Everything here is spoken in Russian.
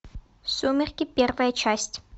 сумерки первая часть